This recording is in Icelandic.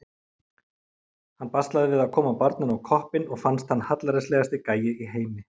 Hann baslaði við að koma barninu á koppinn og fannst hann hallærislegasti gæi í heimi.